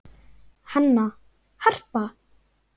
Hanna, Harpa